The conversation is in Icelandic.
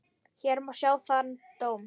Hér má sjá þann dóm.